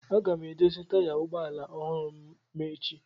Aga m edozi taya ụgbọ ala ọhụrụ ma echi.